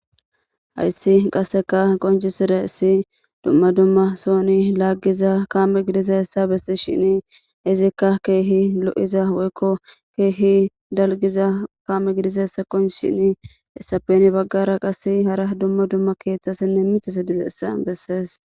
hayssi qasseka qonci sire si dumma dumma sooni laaggiza kaame gidiza hessa bessi shini izikka keehi lo7iza woykko keehi dalgiza kaame gidiza hessa qonc shini essapeni baggara qase hara dumma dumma keeththasinne mite se dizeessa bessees